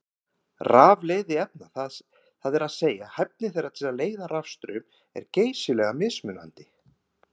Rafleiðni efna, það er að segja hæfni þeirra til að leiða rafstraum, er geysilega mismunandi.